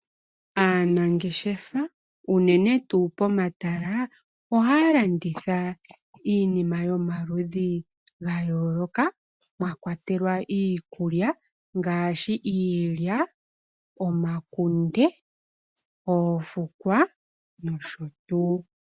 Aanangeshefa unene tuu pomatala oha ya landitha iinima yomaludhi ga yooloka mwa kwatelwa iikulya ngaashi iilya, omakunde, oofukwa nosho tuu.